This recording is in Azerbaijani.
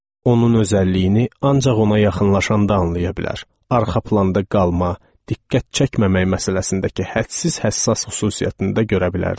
Onun özəlliyini ancaq ona yaxınlaşanda anlaya bilər, arxa planda qalma, diqqət çəkməmək məsələsindəki hədsiz həssas xüsusiyyətində görərdiniz.